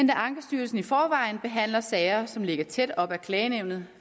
da ankestyrelsen i forvejen behandler sager som ligger tæt op ad klagenævnet